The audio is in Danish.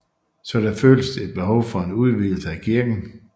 Så der føltes et behov for en udvidelse af kirken